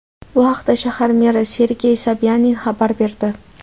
Bu haqda shahar meri Sergey Sobyanin xabar berdi .